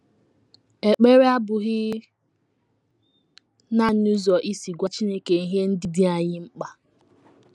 Ekpere abụghị nanị ụzọ isi gwa Chineke ihe ndị dị anyị mkpa.